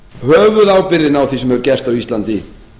höfuðábyrgðin á því sem hefur gerst á íslandi